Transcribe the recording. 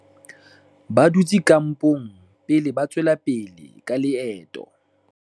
ba dutse kampong pele ba tswela pele ka leeto